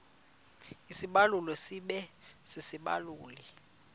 isibaluli sibe sisibaluli